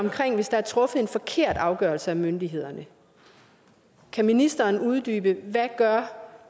er truffet en forkert afgørelse af myndighederne kan ministeren så uddybe hvad